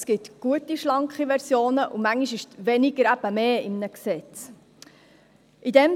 Es gibt gute, schlanke Versionen, und manchmal ist in einem Gesetz weniger eben mehr.